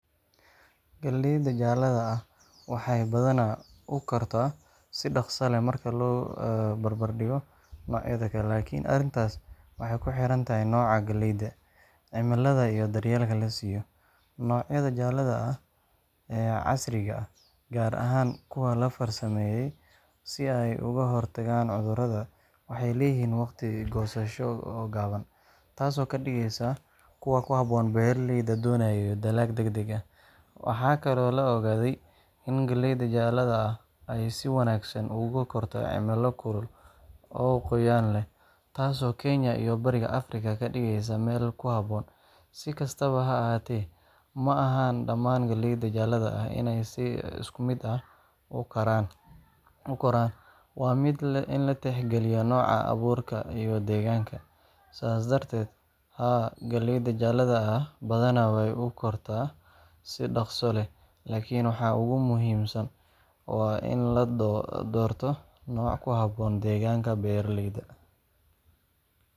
Galleyda jaalaha ah waxay badanaa u kortaa si dhaqso leh marka loo barbardhigo noocyada kale, laakiin arrintaas waxay ku xiran tahay nooca galleyda, cimilada, iyo daryeelka la siiyo. Noocyada jaalaha ah ee casriga ah, gaar ahaan kuwa la farsameeyay si ay uga hortagaan cudurrada, waxay leeyihiin waqti goosasho oo gaaban, taasoo ka dhigaysa kuwo ku habboon beeraleyda doonaya dalag degdeg ah. Waxaa kaloo la ogaaday in galleyda jaalaha ah ay si wanaagsan ugu korto cimilo kulul oo qoyaan leh, taasoo Kenya iyo Bariga Afrika ka dhigaysa meel ku habboon. Si kastaba ha ahaatee, ma aha dhammaan galleyda jaalaha ah inay si isku mid ah u koraan—waa in la tixgeliyaa nooca abuurka iyo deegaanka. Sidaas darteed, haa, galleyda jaalaha ah badanaa way u kortaa si dhaqso leh, laakiin waxa ugu muhiimsan waa in la doorto nooc ku habboon deegaanka beeraleyda.